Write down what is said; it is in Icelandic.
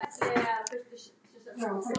Þóra: Hvað á að gera á afmælisdaginn?